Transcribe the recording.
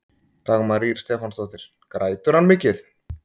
Dagmar Ýr Stefánsdóttir: Grætur hann mikið?